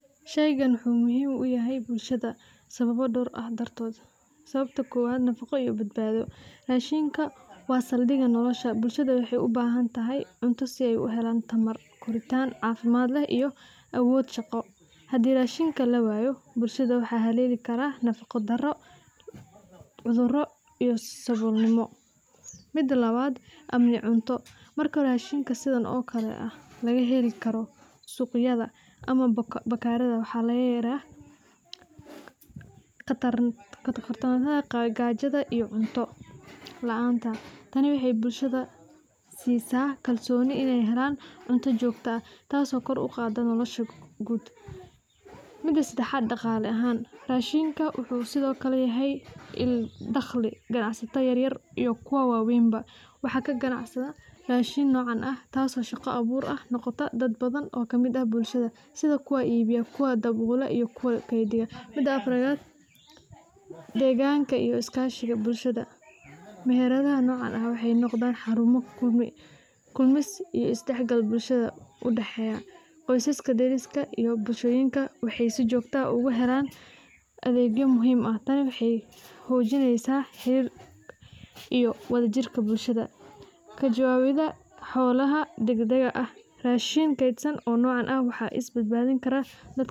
Sheygan wuxu muhim uyahay bulshado sababo dor dartot, sababti kowad nafaqo iyo badbado, rashinda wa saldiga nolosha bulshada waxay ubahantahy cunto sii aay uhelan tamar, koritan cafimad leh iyo awod shaqo, hadi rashinka lawayo bulshada waxa haleli kara nafaqo daro, cuduro iyo sabol nimo, mida labad marka rashinka sidaan oo kale lagaa heli karo suqyada ama bakarada waxa lagaya baqadarda gajada iyo cunto la'aanta tani waxay bulshada sisa kalsooni inay helan cunto jogtaa aah tasi oo kor uqato nolosha gud, mida sedexad daqala ahan rashinka wuxu sidiokale yahay daqli ganacsata yaryar iyo kuwa waweynba waxa kaganacda rashinka, tasi oo shaqo abur noqota dad badhan oo kamid ah bulshada sidhi kuwa iibiya, kuwa dawolo, iyo kuwa kediya, mida afarad deganka iyo bulshada meheradaha nocan waxay noqdan xaruma kamus iyo isdaxgal bulshada udaxeya isqadariska iyo tas bulshada waxay sii jogtaa ah ogahelan adegyo muhim ah tani waxay xojineysa iyo wajawawida xolaha deg dega ama mashin keydsan iyo isbadbadin.